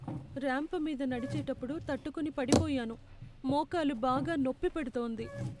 Ramp మీద నడిచేటప్పుడు తట్టుకొని పడిపోయాను. మోకాలు బాగా నొప్పి పెడుతోంది.